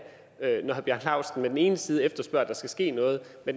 bjarne laustsen på den ene side efterspørger at der skal ske noget og